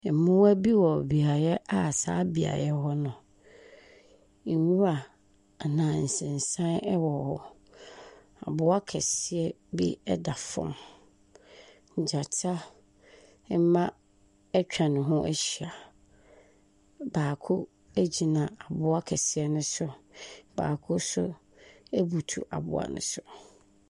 Mmoa bi wɔ beaeɛ a saa beaeɛ hɔ no, nwura anaa nsensan ɛwɔ hɔ. Aboɔ kɛseɛ bi ɛda fam. Gyata mma ɛtwa ne ho ahyia. Baako egyina aboa kɛseɛ no so. Baako nso abutuw aboa no so.